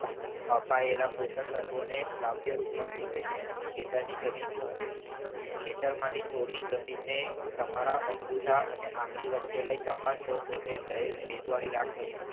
અપાયેલા પોષક તત્વોને લાવ્યા રૂપમાં ફેરવે છે ખેતરની જમીન શું છે ખેતરમાંથી થોડી જમીનને તમારા અંગૂઠા અને આંગળી વચ્ચે લઈ તપાસતા તે સહેજ ભેજવાળી રાખશે.